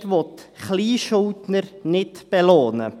– Die Mehrheit will Kleinschuldner nicht belohnen.